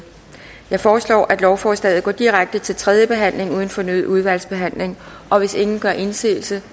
jeg foreslår at lovforslaget går direkte til tredje behandling uden fornyet udvalgsbehandling og hvis ingen gør indsigelse